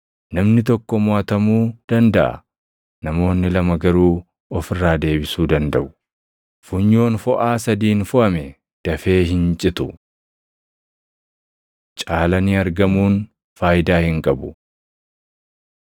Namni tokko moʼatamuu dandaʼa; namoonni lama garuu of irraa deebisuu dandaʼu. Funyoon foʼaa sadiin foʼame dafee hin citu. Caalanii Argamuun Faayidaa Hin qabu